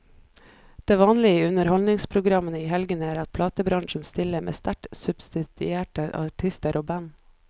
Det vanlige i underholdningsprogrammene i helgene er at platebransjen stiller med sterkt subsidierte artister og band.